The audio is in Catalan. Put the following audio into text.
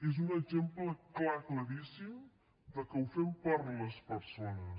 es un exemple clar claríssim de que ho fem per a les persones